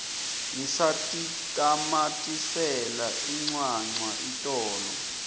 ngisatitamatisela incwancwa itolo